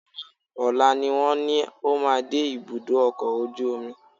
Rárá, ọ̀la ni wọ́n ní ó máa dé ibùdó ọkọ̀ ojú omi